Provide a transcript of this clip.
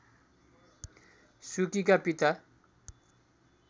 सुकीका पिता